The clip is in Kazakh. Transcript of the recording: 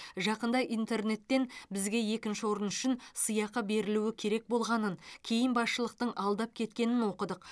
жақында интернеттен бізге екінші орын үшін сыйақы берілуі керек болғанын кейін басшылықтың алдап кеткенін оқыдық